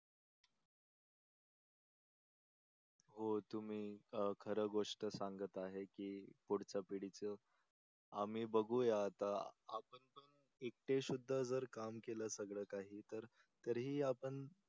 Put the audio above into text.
हो तुम्ही खर गोष्ट संगत आहे की पुढच्या पिढीचं आम्ही बघूया आता एकटे सुध्दा जर काम केलं सगळ काही तर तरीही आपण